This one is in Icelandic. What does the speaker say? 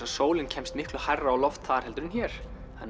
sólin kemst miklu hærra á loft þar heldur en hér